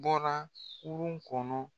bɔra kurun kɔnɔ